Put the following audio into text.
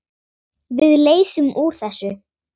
Við leysum úr þessu.